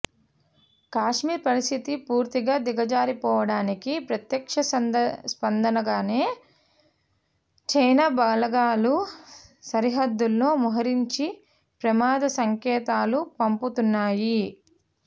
కశ్మీర్ పరిస్థితి పూర్తిగా దిగజారిపోవడానికి ప్రత్యక్ష స్పందనగానే చైనా బలగాలు సరిహద్దుల్లో మోహరించి ప్రమాద సంకేతాలు పంపుతున్నాయి